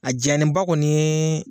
A diyanniba kɔni ye